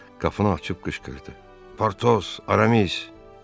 Qapını açıb qışqırdı: Portos, Aramis.